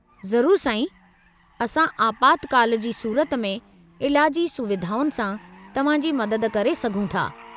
ज़रूरु, साईं। असां आपातकालु जी सूरत में इलाजी सुविधाउनि सां तव्हांजी मदद करे सघूं था।